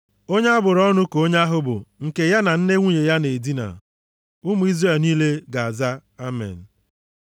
“Onye a bụrụ ọnụ ka onye ahụ bụ, nke ya na nne nwunye ya na-edina.” Ụmụ Izrel niile ga-aza, “Amen.”